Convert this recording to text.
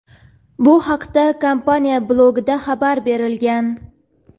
Bu haqda kompaniya blogida xabar berilgan.